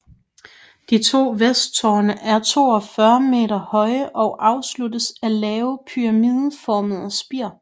De to vesttårne er 42 m høje og afsluttes af lave pyramideformede spir